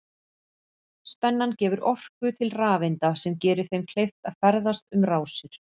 Spennan gefur orku til rafeinda sem gerir þeim kleift að ferðast um rásir.